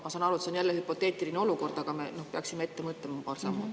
Ma saan aru, et see on jälle hüpoteetiline olukord, aga me peaksime paar sammu ette mõtlema.